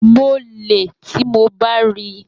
Mo le, ti mo ba ranti.